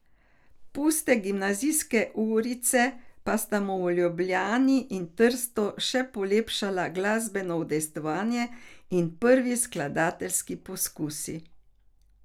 Puste gimnazijske urice pa sta mu v Ljubljani in Trstu že polepšala glasbeno udejstvovanje in prvi skladateljski poskusi.